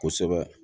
Kosɛbɛ